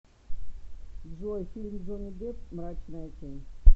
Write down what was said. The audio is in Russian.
джой фильм джонни депп мрачная тень